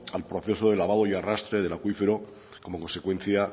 al proceso de lavado y arrastre del acuífero como consecuencia